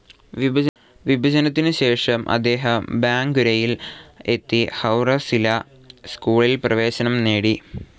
വിഭജനത്തിനുശേഷം അദ്ദേഹം ബാങ്കുരയിൽ എത്തി ഹൗറ സില്ലാ സ്കൂളിൽ പ്രവേശനം നേടി.